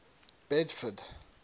bedford